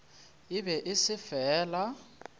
e be e se fela